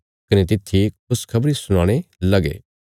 कने तित्थी खुशखबरी सुनाणे लगे